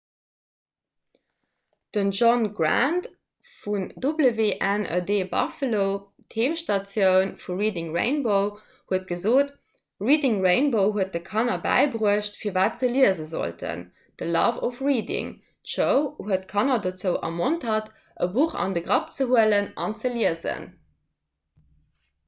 den john grant vu wned buffalo d'heemstatioun vu reading rainbow huet gesot reading rainbow huet de kanner bäibruecht firwat se liese sollten, the love of reading – [d'show] huet kanner dozou ermontert e buch an de grapp ze huelen an ze liesen.